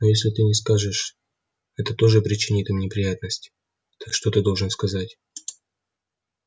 но если ты не скажешь это тоже причинит им неприятность так что ты должен сказать